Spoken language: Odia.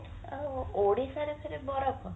ଅ ଓଡିଶାରେ ଫେରେ ବରଫ